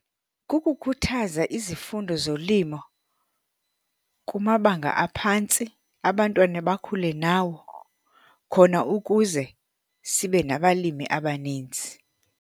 Kukukhuthaza izifundo zolimo kumabanga aphantsi abantwana bakhule nawo khona ukuze sibe nabalimi abaninzi.